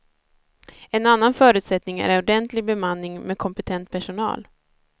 En annan förutsättning är ordentlig bemanning med kompetent personal.